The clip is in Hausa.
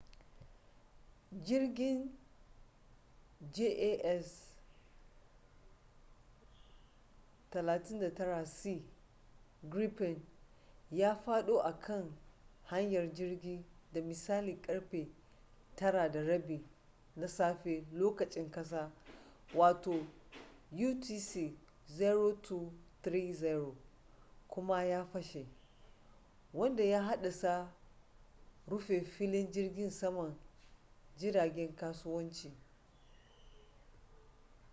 jirgin jas 39c gripen ya fado a kan hanyar jirgi da misalin karfe 9:30 na safe lokacin kasa utc 0230 kuma ya fashe wanda ya haddasa rufe filin jirgin saman jiragen kasuwanci